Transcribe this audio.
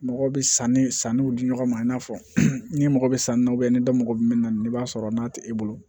Mɔgɔw bɛ sanni sanniw di ɲɔgɔn ma i n'a fɔ ni mɔgɔ bɛ sanu na ni dɔ mago bɛ min na i b'a sɔrɔ n'a tɛ e bolo